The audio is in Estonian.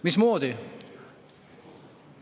Mismoodi?